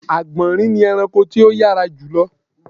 Àgbọ̀nrín ni ẹranko tó yárā jùlọ